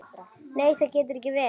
Nei það getur ekki verið.